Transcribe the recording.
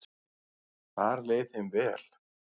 Þar leið þeim vel.